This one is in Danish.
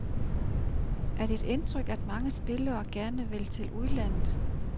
Er det dit indtryk, at mange spillere gerne vil til udlandet?